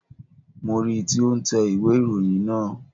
Mo ri tí ó n tẹ ìwé ìròyìn naa